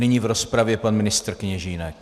Nyní v rozpravě pan ministr Kněžínek.